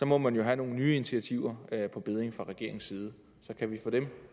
må man jo have nogle nye initiativer på bedding fra regeringens side så kan vi få dem